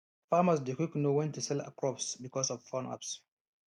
farmers dey quick know when to sell crops because of phone apps